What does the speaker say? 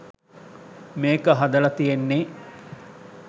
මේක හදල තියෙන්නේ